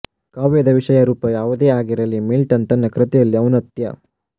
ಕಾವ್ಯದ ವಿಷಯ ರೂಪ ಯಾವುದೇ ಆಗಿರಲಿ ಮಿಲ್ಟನ್ ತನ್ನ ಕೃತಿಯಲ್ಲಿ ಔನ್ನತ್ಯ